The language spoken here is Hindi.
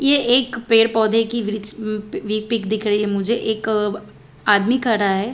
ये एक पेड़ पौधे कि वृक्ष वी पिक दिख रही है मुझे एक आदमी खड़ा है।